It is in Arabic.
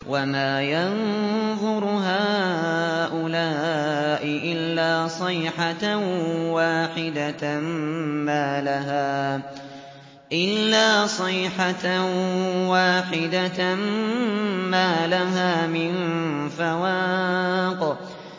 وَمَا يَنظُرُ هَٰؤُلَاءِ إِلَّا صَيْحَةً وَاحِدَةً مَّا لَهَا مِن فَوَاقٍ